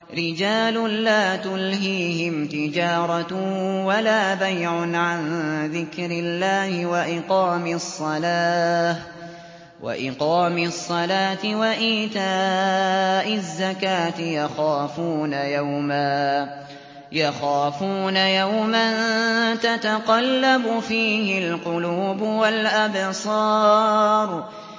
رِجَالٌ لَّا تُلْهِيهِمْ تِجَارَةٌ وَلَا بَيْعٌ عَن ذِكْرِ اللَّهِ وَإِقَامِ الصَّلَاةِ وَإِيتَاءِ الزَّكَاةِ ۙ يَخَافُونَ يَوْمًا تَتَقَلَّبُ فِيهِ الْقُلُوبُ وَالْأَبْصَارُ